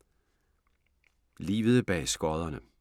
Livet bag skodderne